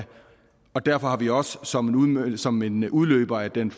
og derfor har vi også som som en udløber af den